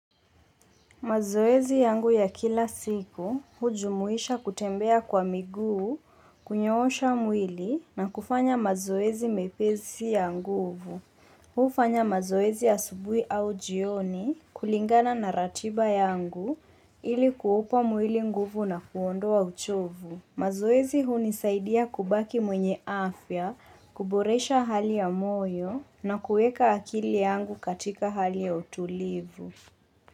Mazoezi yangu ya kila siku hujumuisha kutembea kwa miguu, kunyoosha mwili na kufanya mazoezi mepesi ya nguvu. Hufanya mazoezi ya asubuhi au jioni kulingana na ratiba yangu ili kuupa mwili nguvu na kuondoa uchovu. Mazoezi hunisaidia kubaki mwenye afya, kuboresha hali ya moyo na kuweka akili yangu katika hali ya utulivu.